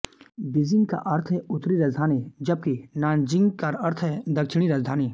Beijing का अर्थ है उत्तरी राजधानी जबकि नान्जिंग का अर्थ है दक्षिणी राजधानी